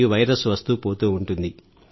ఈ వైరస్ వస్తూపోతూ ఉంటుంది